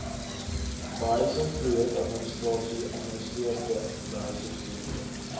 behuisingsprojekadministrasie administreer behuisingsprojekte